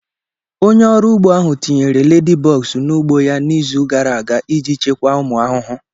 Onye ọrụ ugbo ahụ tinyere ladybugs n'ugbo ya n'izu gara aga iji chịkwaa ụmụ ahụhụ.